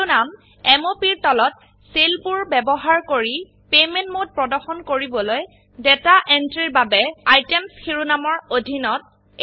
শিৰোনাম M O Pৰ তলতসেল বোৰ ব্যবহাৰ কৰি পেমেন্ট মোড প্ৰদৰ্শন কৰিবলৈ ডাটা এন্ট্ৰিৰ বাবে আইটেমছ শিৰোনামৰ অধীনত